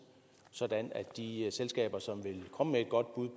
sådan at de selskaber som vil komme med et godt bud